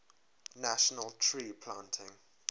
national tree planting